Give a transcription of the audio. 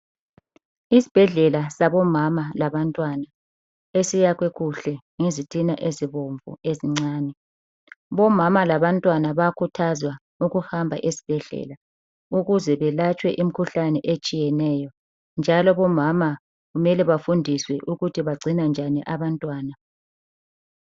Isibhedlela sabomama labantwana esiyakhwe kuhle ngezitina ezibomvu ezincane. Bomama labantwana bayakhuthazwa ukuhamba ezibhedlela ukuze belatshwe imikhuhlane etshiyeneyo njalo bomama kumele bafundiswe ukuthi bagcina njani abantwana.